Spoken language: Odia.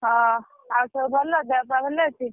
ହ ଆଉ ସବୁ ଭଲ ଦେହ ପା ଭଲ ଅଛି?